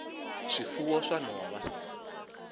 swifuwo swa nhova